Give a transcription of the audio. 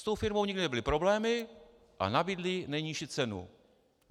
S tou firmou nikdy nebyly problémy a nabídli nejnižší cenu.